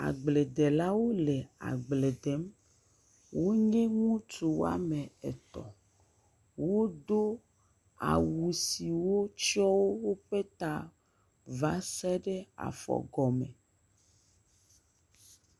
Agbledelawo le agble dem, wonye ŋutsu woame etɔ̃, wodo awu siwo tsiɔ woƒe ta va se ɖe afɔgɔme.